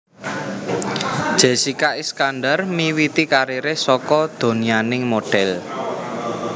Jessika Iskandar miwiti kariré saka donyaning modhél